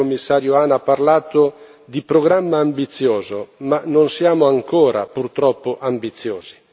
Lei, Commissario Hahn, ha parlato di programma ambizioso ma non siamo ancora purtroppo ambiziosi.